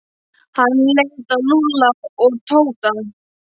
Hann leit á Lúlla og Tóta.